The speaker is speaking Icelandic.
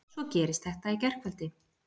Svo gerist þetta í gærkvöldi!